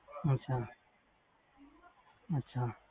ਅੱਛਾ